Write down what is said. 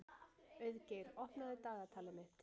Auðgeir, opnaðu dagatalið mitt.